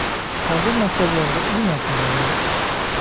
Hozir maktablarda u narsalar yo‘q.